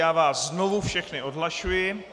Já vás znovu všechny odhlašuji.